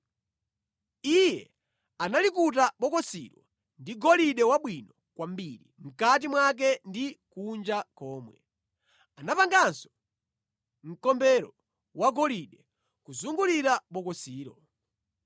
Iye analikuta bokosilo ndi golide wabwino kwambiri mʼkati mwake ndi kunja komwe. Anapanganso mkombero wagolide kuzungulira bokosilo.